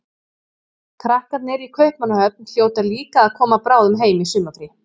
Krakkarnir í Kaupmannahöfn hljóta líka að koma bráðum heim í sumarfrí.